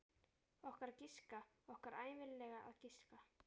Okkar að giska, okkar ævinlega að giska.